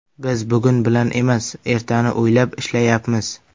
Biz bugun bilan emas, ertani o‘ylab ishlayapmiz.